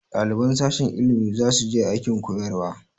Ɗaliban sashen ilimi za su je aikin koyarwa